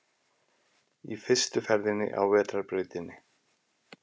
Í fyrstu ferðinni á vetrarbrautinni